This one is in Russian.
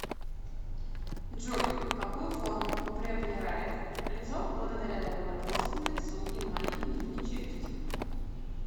джой какую форму приоблерает лицо благодаря довольно плоскому лицу и маленькой нижней челюсти